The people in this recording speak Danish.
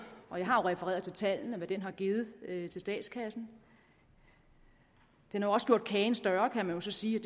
har jeg refereret til tallene hvad den har givet til statskassen den har også gjort kagen større kan jeg sige